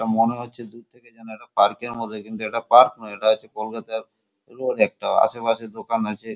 এটা মনে হচ্ছে দূর থেকে যেন একটা পার্ক এর মতই কিন্তু এটা পার্ক এর নয় এটা হচ্ছে কলকাতার রোড একটা আশেপাশে দোকান আছে।